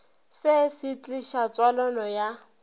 se se tliša tswalano ya